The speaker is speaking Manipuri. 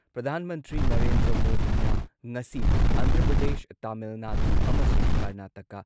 ꯄ꯭ꯔꯙꯥꯟ ꯃꯟꯇ꯭ꯔꯤ ꯅꯔꯦꯟꯗ꯭ꯔ ꯃꯣꯗꯤꯅ ꯉꯁꯤ ꯑꯟꯙ꯭ꯔ ꯄ꯭ꯔꯗꯦꯁ, ꯇꯥꯃꯤꯜ ꯅꯥꯗꯨ ꯑꯃꯁꯨꯡ ꯀꯔꯅꯥꯇꯀꯥ